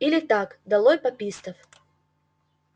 или так долой папистов